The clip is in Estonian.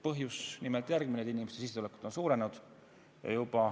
Põhjus on nimelt järgmine: inimeste sissetulekud on suurenenud.